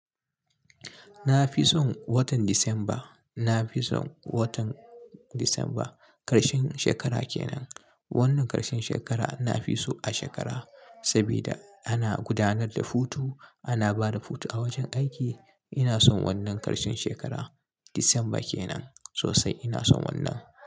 Na fi son watan Disamba. Na fi son watan Disamba ƙarshen shekara ke nan. Wannan ƙarshen shekara na fi so a shekara saboda ana gudanar da hutu, ana ba da hutu a wajen aiki. Ina son wannan ƙarshen shekara. Disamba ke nan sosai. Ina son wannan.